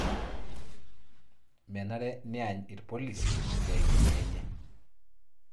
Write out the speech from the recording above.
menare neany irpolishi isiatin enye